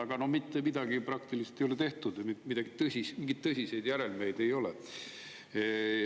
Aga mitte midagi praktilist ei ole tehtud, mingeid tõsiseid järelmeid ei ole.